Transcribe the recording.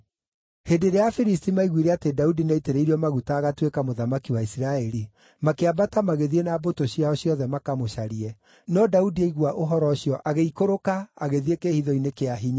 Hĩndĩ ĩrĩa Afilisti maaiguire atĩ Daudi nĩaitĩrĩirio maguta agatuĩka mũthamaki wa Isiraeli, makĩambata magĩthiĩ na mbũtũ ciao ciothe makamũcarie, no Daudi aigua ũhoro ũcio agĩikũrũka agĩthiĩ kĩĩhitho-inĩ kĩa hinya.